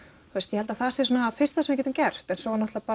ég held að það sé það fyrsta sem við getum gert en svo er náttúrulega